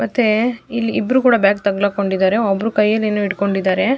ಮತ್ತೆ ಇಲ್ಲಿ ಇಬ್ರು ಕೂಡ ಬ್ಯಾಗ್ ತಗ್ಲಾಕೊಂಡಿದರೆ ಒಬ್ರು ಕೈಯಲ್ಲಿ ಏನೋ ಹಿಡಕೊಂಡಿದರೆ.